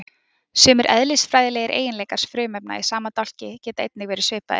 sumir eðlisfræðilegir eiginleikar frumefna í sama dálki geta einnig verið svipaðir